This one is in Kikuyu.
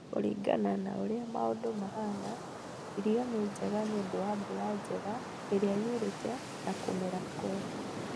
Kũringana na ũrĩa maũndũ mahana, irio nĩ njega nĩũndũ wa mbura njega ĩrĩa yurĩte na kũmera kwega